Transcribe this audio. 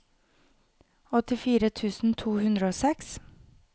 åttifire tusen to hundre og seks